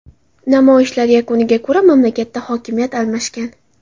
Namoyishlar yakuniga ko‘ra, mamlakatda hokimiyat almashgan.